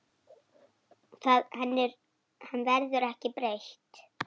Henni verður ekki breytt.